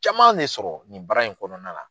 Caman ne sɔrɔ nin bara in kɔnɔna la.